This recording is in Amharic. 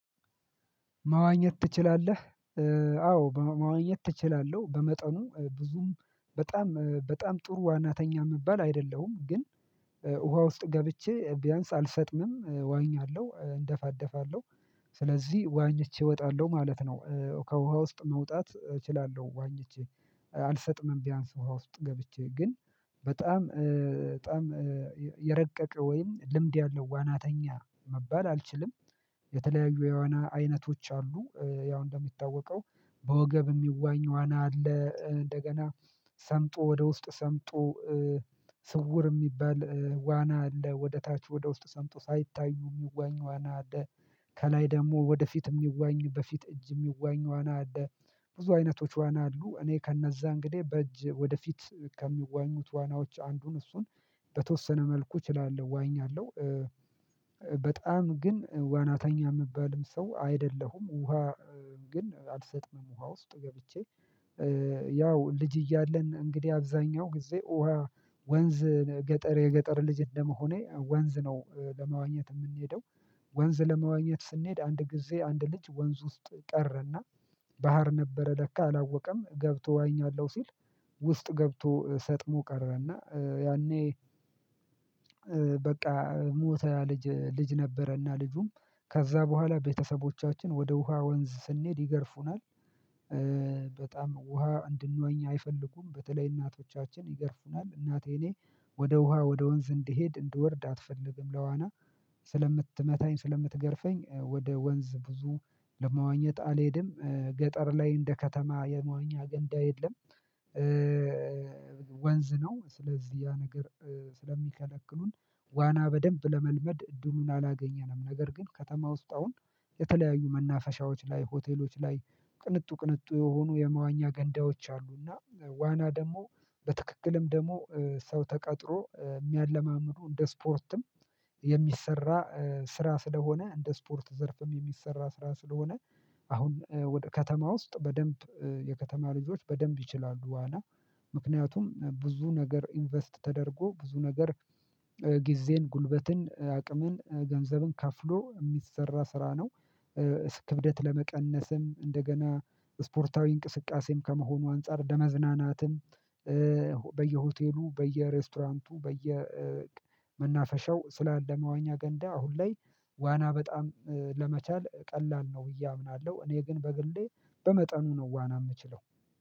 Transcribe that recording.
መዋኘት ትችላለህ? አዎ መዋኘት እችላለው። በመጠኑ ብዙም በጣም በጣም ጥሩ ዋናተኛ ምባል አይደለሁም ግን ውሃ ውስጥ ገብቼ ቢያንስ አልሰጥምም እዋኛለው እንደፋደፋለሁ ስለዚህ ዋኝቼ እወጣለሁ ማለት ነው ከውሃ ውስጥ መውጣት እችላለሁ ዋኝቼ አልሰጥምም ቢያንስ ውሃ ውስጥ ገብቼ ግን በጣም በጣም የረቀቀ ወይም ልምድ ያለው ዋናተኛ መባል አልችልም የተለያዩ የዋና አይነቶች አሉ ያው እንደሚታወቀው በወገብ የሚዋኝ ዋና አለ እንደገና ሰምጦ ወደ ውስጥ ሰምጦ ስውር የሚባል ዋና አለ፣ ወደ ታች ወደ ውስጥ ሰምጦ ሳይታዩ የሚዋኙ ዋና አለ፣ ከላይ ደግሞ ወደፊት የሚዋኙ በፊት እጅ የሚዋኝ ዋና አለ ብዙ አይነቶች ዋና አሉ እኔ ከእነዛ እንግዲህ በእጅ ወደፊት ከሚዋኙት ዋናዎች አንዱን እሱን በተወሰነ መልኩ እችላለሁ ዋኛለሁ በጣም ግን ዋናተኛ የምባልም ሰው አይደለሁም ውሃ ግን አልሰጥምም ውሃ ውስጥ ገብቼ ያው ልጅ እያለን እንግዲህ አብዛኛው ጊዜ ውሃ ወንዝ ገጠር የገጠር ልጅ እንደመሆኔ ወንዝ ነው ለመዋኘት እምኔደው ወንዝ ለመዋኘት ስንሄድ አንድ ጊዜ አንድ ልጅ ወንዝ ውስጥ ቀረና ባህር ነበረ ለካ አላወቀም ገብቶ ዋኛለው ሲል ውስጥ ገብቶ ሰጥሞ ቀረና እና ያኔ በቃ ሞተ ያ ልጅ ልጅ ነበረና ልጁም ከዛ በኋላ ቤተሰቦቻችን ወደ ውሃ ወንዝ ስንሄድ ይገርፉናል በጣም ውሃ እንድንዋኝ አይፈልጉም በተለይ እናቶቻችን ይገርፉናል እናቴ እኔ ወደ ውሃ ወደ ወንዝ እንድሄድ እንድወርድ አትፈልግም ለዋና ስለምትመታኝ ስለምትገርፈኝ ወደ ወንዝ ብዙ ለመዋኘት አልሄድም ገጠር ላይ እንደ ከተማ የመዋኛ ገንዳ የለም ወንዝ ነው ስለዚህ ያ ነገር ስለሚከለክሉን ዋና በደንብ ለመልመድ እድሉን አላገኘንም ነገር ግን ከተማ ውስጥ አሁን የተለያዩ መናፈሻዎች ላይ ሆቴሎች ላይ ቅንጡ ቅንጡ የሆኑ የመዋኛ ገንዳዎች አሉና ዋና ደግሞ በትክክልም ደግሞ ሰው ተቀጥሮ የሚያለማምዱ እንደ ስፖርትም የሚሰራ ስራ ስለሆነ እንደ ስፖርት ዘርፍም የሚሰራ ስራ ስለሆነ አሁን ወደ ከተማ ውስጥ በደንብ የከተማ ልጆች በደንብ ይችላሉ ዋና ምክንያቱም ብዙ ነገር ኢንቨስት ተደርጎ ብዙ ነገር ጊዜን፣ ጉልበትን፣ አቅምን፣ ገንዘብን ከፍሎ የሚሰራ ስራ ነው ክብደት ለመቀነስም እንደገና ስፖርታዊ እንቅስቃሴም ከመሆኑ አንፃር ለመዝናናትም በየሬስቶራንቱ በየመናፈሻው ስላለ መዋኛ ገንዳ አሁን ላይ ዋና በጣም ለመቻል ቀላል ነው ብዬ አምናለሁ እኔ ግን በግሌ በመጠኑ ነው ዋና የምችለው